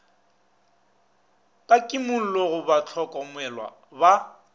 ka kimollo go bahlokomelwa ba